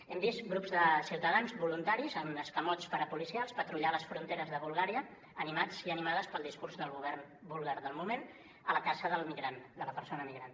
hem vist grups de ciutadans voluntaris en escamots parapolicials patrullar a les fronteres de bulgària animats i animades pel discurs del govern búlgar del moment a la caça del migrant de la persona migrant